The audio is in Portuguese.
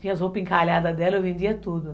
Tinha as roupas encalhadas dela, eu vendia tudo.